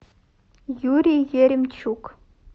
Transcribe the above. юрий еремчук